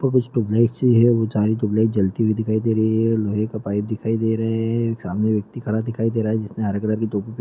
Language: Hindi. ब्लैक से है चारो तो ब्लैक जलती हुई दिखाई दे रही है लोहै के पाईप दिखाई दे रहै है । सामने व्यक्ति खड़ा दिखाई दे रहा हैँ जिसने हरे कलर की टोपी--